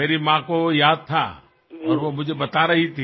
আপোনালোক সকলোলৈ আগন্তুক উৎসৱসমূহৰ বাবে অলেখ শুভকামনা থাকিল